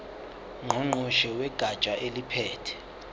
ngqongqoshe wegatsha eliphethe